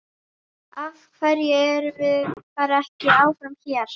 Af hverju erum við bara ekki áfram hérna?